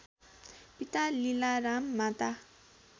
पिता लीलाराम माता